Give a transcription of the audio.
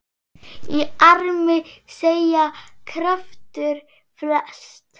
Í armi seggja kraftur felst.